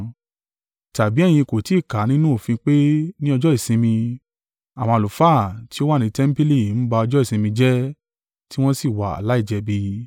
Tàbí ẹ̀yin kò ti kà á nínú òfin pé ní ọjọ́ ìsinmi, àwọn àlùfáà tí ó wà ní tẹmpili ń ba ọjọ́ ìsinmi jẹ́ tí wọ́n sì wà láìjẹ̀bi.